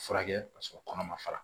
Furakɛ k'a sɔrɔ kɔnɔ ma fara